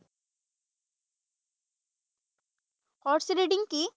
Horse riding কি?